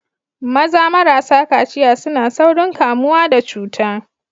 Maza marasa kaciya suna saurin kamuwa da cuta.